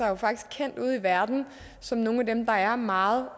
jo faktisk kendt ude i verden som nogle af dem der er meget